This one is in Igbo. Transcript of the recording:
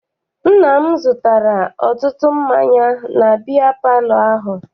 Nna m zụtara ọtụtụ mmanya na biya palọ ahụ.